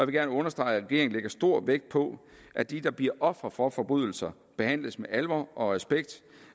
gerne understrege at regeringen lægger stor vægt på at de der bliver ofre for forbrydelser behandles med alvor og respekt